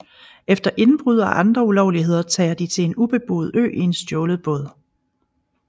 Efter indbrud og andre ulovligheder tager de til en ubeboet ø i en stjålet båd